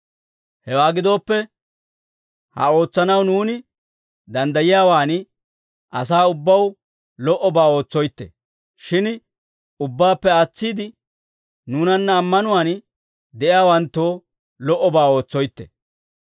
Hewaa gidooppe ha ootsanaw nuuni danddayiyaawaan, asaa ubbaw lo"obaa ootsoytte; shin ubbaappe aatsiide, nuunanna ammanuwaan de'iyaawanttoo lo"obaa ootsoytte.